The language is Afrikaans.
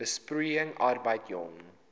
besproeiing arbeid jong